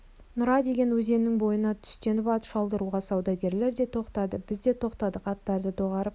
нұра деген өзеннің бойына түстеніп ат шалдыруға саудагерлер де тоқтады біз де тоқтадық аттарды доғарып шай